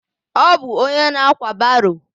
Ọ bụ onye na-ákwà baro.